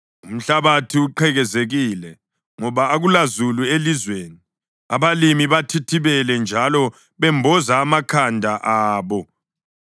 Umhlabathi uqhekezekile ngoba akulazulu elizweni; abalimi bathithibele njalo bemboze amakhanda abo.